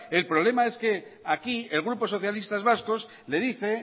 el problema es que aquí el grupo socialistas vascos le dice